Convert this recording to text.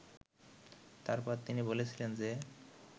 তারপর তিনি বলেছিলেন যে